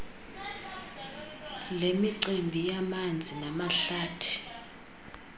lemicimbi yamanzi namahlathi